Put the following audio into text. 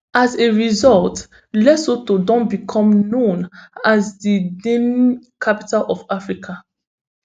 as a result lesotho don become known as di denim capital of africa